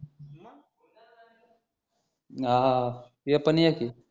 आह ते पण a. c